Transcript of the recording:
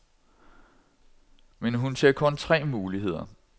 Men hun ser kun tre muligheder.